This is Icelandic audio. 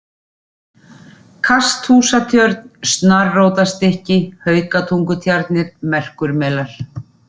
Kasthúsatjörn, Snarrótarstykki, Haukatungutjarnir, Merkurmelar